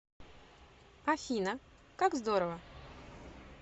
афина как здорово